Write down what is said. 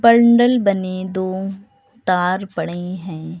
Bundle बने दो तार पड़े हैं।